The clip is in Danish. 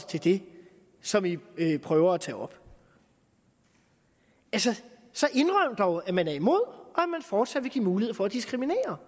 til det som vi prøver at tage op altså så indrøm dog at man er imod og at man fortsat vil give mulighed for at diskriminere